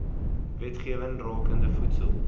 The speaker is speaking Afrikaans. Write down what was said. wetgewing rakende voedsel